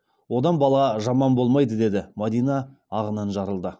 одан бала жаман болмайды деді мадина ағынан жарылды